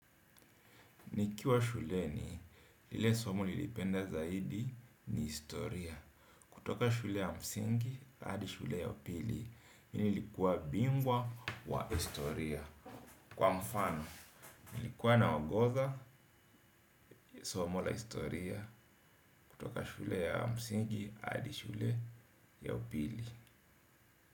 Nikiwa shuleni, lile somo nilipenda zaidi ni historia. Kutoka shule ya msingi hadi shule ya upili mini nilikuwa bingwa wa historia. Kwa mfano, nilikuwa naongoza ya somo la historia kutoka shule ya msingi hadi shule ya upili.